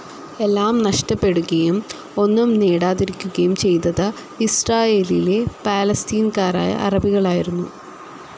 എല്ലാം നഷ്ടപ്പെടുകയും ഒന്നും നേടാതിരിക്കുകയും ചെയ്തത് ഇസ്രയേലിലെ പാലസ്തീൻകാരായ അറബികളായിരുന്നു.